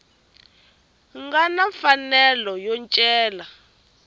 nga na mfanelo yo cela